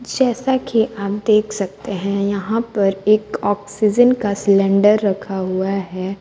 जैसा कि आप देख सकते हैं यहां पर एक ऑक्सीजन का सिलेंडर रखा हुआ है।